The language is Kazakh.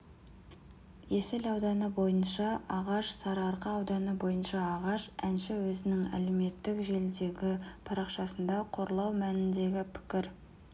есіл ауданы бойынша ағаш сарыарқа ауданы бойынша ағаш әнші өзінің әлеуметтік желідегі парақшасында қорлау мәніндегі пікір